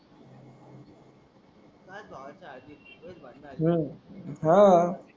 हु हम्म हा